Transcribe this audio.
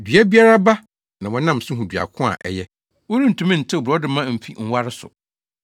Dua biara aba na wɔnam so hu dua ko a ɛyɛ. Worentumi ntew borɔdɔma mfi nware so.